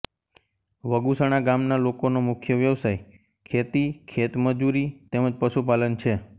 વગુસણા ગામના લોકોનો મુખ્ય વ્યવસાય ખેતી ખેતમજૂરી તેમ જ પશુપાલન છે